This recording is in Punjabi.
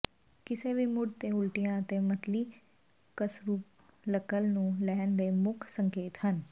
ਕਿਸੇ ਵੀ ਮੁੱਢ ਦੇ ਉਲਟੀਆਂ ਅਤੇ ਮਤਲੀ ਕਸਰੂਲਕਲ ਨੂੰ ਲੈਣ ਦੇ ਮੁੱਖ ਸੰਕੇਤ ਹਨ